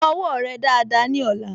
Fọ owó rẹ dáadáa ní ọ̀la